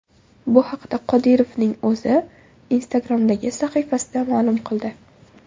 Bu haqda Qodirovning o‘zi Instagram’dagi sahifasida ma’lum qildi .